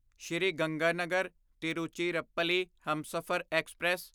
Sri Ganganagar Tiruchirappalli Humsafar express